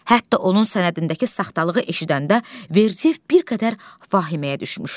Hətta onun sənədindəki saxtalığı eşidəndə Verdiyev bir qədər vahiməyə düşmüşdü.